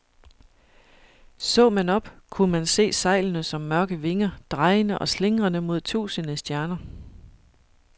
Så man op, kunne man se sejlene som mørke vinger, drejende og slingrende mod tusinde stjerner.